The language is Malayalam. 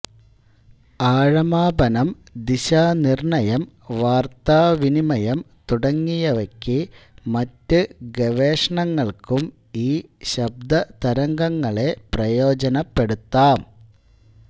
ആഴമാപനം ദിശാനിർണയം വാർത്താവിനിമയം തുടങ്ങിയവയ്ക്കു മറ്റു ഗവേഷണങ്ങൾക്കും ഈ ശബ്ദതരംഗങ്ങളെ പ്രയോജനപ്പെടുത്താം